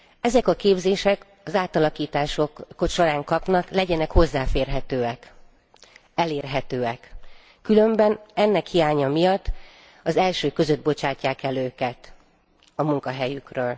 Ezek a képzések, amiket az átalakítások során kapnak, legyenek hozzáférhetőek, elérhetőek, különben ennek hiánya miatt az elsők között bocsátják el őket a munkahelyükről.